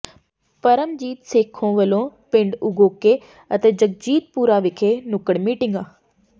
ਪਰਮਜੀਤ ਸੇਖੋਂ ਵੱਲੋਂ ਪਿੰਡ ਉਗੋਕੇ ਅਤੇ ਜਗਜੀਤਪੁਰਾ ਵਿਖੇ ਨੱੁਕੜ ਮੀਟਿੰਗਾਂ